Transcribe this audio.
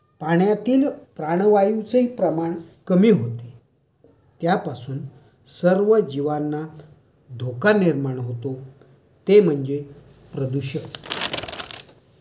पाण्यातील प्राणवायूचे प्रमाण कमी होणे, त्यापासून सर्व जीवांना धोका निर्माण होतो. ते म्हणजे प्रदूषण.